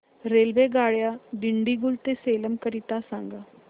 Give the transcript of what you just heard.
रेल्वेगाड्या दिंडीगुल ते सेलम करीता सांगा